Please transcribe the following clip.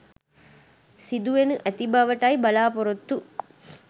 සිදු වෙනු ඇති බවටයි බලාපොරොත්තු